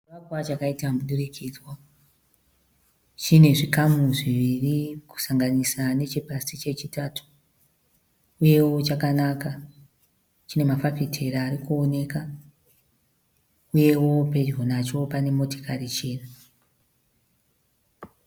Chivakwa chakaita mudurikidzwa. Chine zvikamu zviviri kusanganisa nechepasi chechitatu uyewo chakanaka. Chine mafafitera ari kuonekwa uyewo pedyo nacho pane motokari chena.